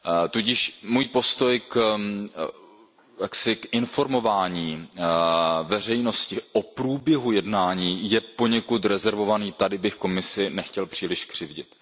Tudíž můj postoj k informování veřejnosti o průběhu jednání je poněkud rezervovaný, tady bych Komisi nechtěl příliš křivdit.